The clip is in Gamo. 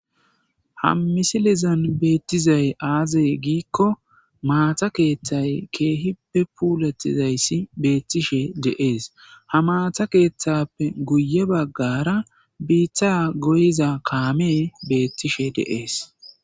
ha misilizan beettizay aaze giikko maata keeththay keehippe puulatizayssi beettishe de7ees ha maata keeththappe guye baggara biitta goyiza kaame beettishe de7ees.